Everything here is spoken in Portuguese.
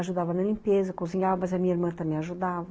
Ajudava na limpeza, cozinhava, mas a minha irmã também ajudava.